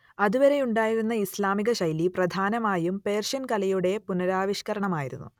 അതുവരെയുണ്ടായിരുന്ന ഇസ്ലാമികശൈലി പ്രധാനമായും പേർഷ്യൻ കലയുടെ പുനരാവിഷ്കരണമായിരുന്നു